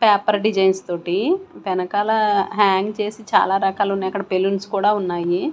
Paper designs తోటి వెనకాల hang చేసి చాలా రకాలు ఉన్నాయి అక్కడ బెలూన్స్ కూడా ఉన్నాయి.